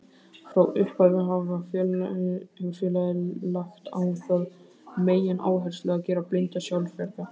Frá upphafi hefur félagið lagt á það megináherslu að gera blinda sjálfbjarga.